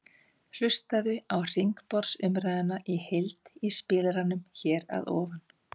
Hlustaðu á hringborðsumræðuna í heild í spilaranum hér að ofan.